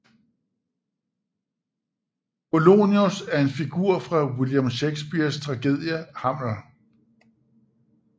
Polonius er en figur fra William Shakespeares tragedie Hamlet